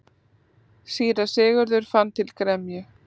Síra Sigurður fann til gremju.